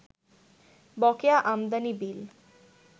বকেয়া আমদানি বিল